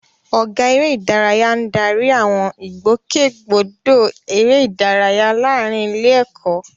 Ọ̀gá Eré ìdárayá ń darí àwọn ìgbòkègbodò eré ìdárayá láàárín ilé-ẹ̀kọ́.